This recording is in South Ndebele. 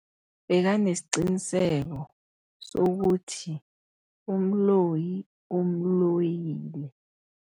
Bekanesiqiniseko sokuthi umloyi umloyile.